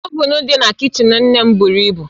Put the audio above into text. Ovuun dị na kichin nne m buru ibu